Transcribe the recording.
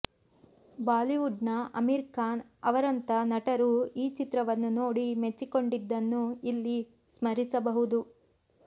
Bollywood ನ ಆಮೀರ್ ಖಾನ್ ಅವರಂಥ ನಟರೂ ಈ ಚಿತ್ರವನ್ನು ನೋಡಿ ಮೆಚ್ಚಿಕೊಂಡಿದ್ದನ್ನು ಇಲ್ಲಿ ಸ್ಮರಿಸಬಹುದು